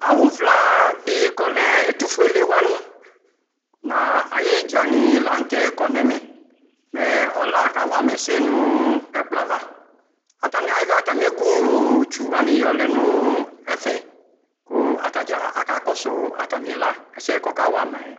awʋ vla di kʋ ɔlɛ ɛtʋƒʋɛlɛ wani nʋ ayi idza ni lantɛ kɔnʋ ɛmɛ mɛ ɔla kawama ɛsɛnʋ ɛkplɔɛ ava, atani ayɔ atami ɛkʋ mlɔ tsɔ wani yɔlɛnʋ ɛƒɛ kʋ atagya akakɔsʋ atami la ɛsɛ kʋ ɔka wamaɛ